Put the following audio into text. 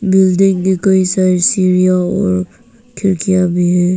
Building में कई सारी सीढ़ियां और खिड़कियां भी हैं।